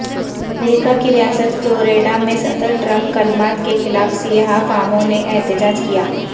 امریکہ کی ریاست فلوریڈا میں صدر ٹرمپ کلمات کے خلاف سیاہ فاموں نے احتجاج کیا